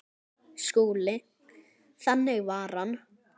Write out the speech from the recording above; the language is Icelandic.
SKÚLI: Þannig var hann.